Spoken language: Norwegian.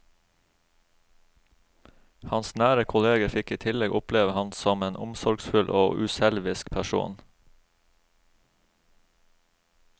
Hans nære kolleger fikk i tillegg oppleve ham som en omsorgsfull og uselvisk person.